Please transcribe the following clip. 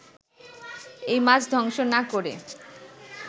ওই মাছ ধ্বংস না করে